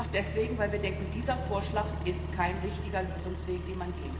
Einfach deswegen, weil wir denken, dieser Vorschlag ist kein richtiger Lösungsweg,